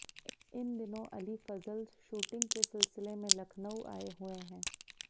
इन दिनों अली फजल शूटिंग के सिलसिले में लखनऊ आए हुए हैं